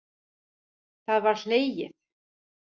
Það var hlegið.